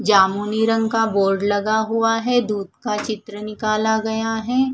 जामुनी रंग का बोर्ड लगा हुआ है दूध का चित्र निकाला गया है।